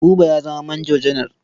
Buba ya zama manjo janar.